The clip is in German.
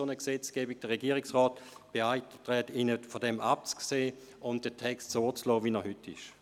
Der Regierungsrat beantragt Ihnen, davon abzusehen und den Text so zu belassen, wie er heute ist.